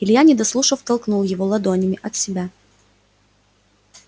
илья не дослушав толкнул его ладонями от себя